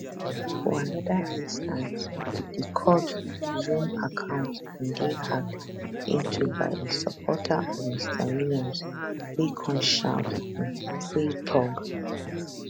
for anoda instance di court zoom account bin dey hacked into by a supporter of mr williams wey come shout um free thug